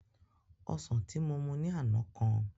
Osàn tí mo mu ní àná kan